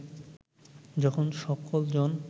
যখন সকল জন